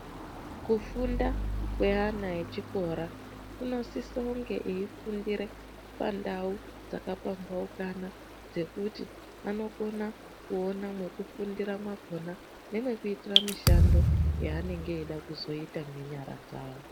Kufunda kweana echikora kunosise kunge eifundire pandau dzakapambaukana dzekuti anokona kuona mwekufundira mwakona nemwekuitira mishando yaanenge eida kuzoita ngenyara dzavo.